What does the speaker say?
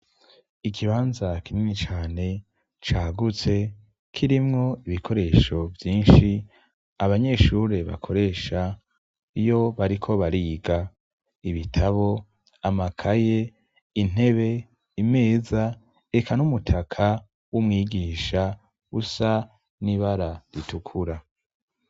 Ikibanza kinini cane cagutse, kirimwo ibikoresho vyinshi abanyeshure bakoresha iyo bariko bariga: ibitabo, amakaye, intebe, imeza, eka n'umutaka w'umwigisha usa n'ibara ritukura.